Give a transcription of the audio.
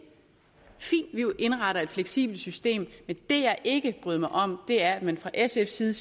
er jo indretter et fleksibelt system men det jeg ikke bryder mig om er at man fra sfs side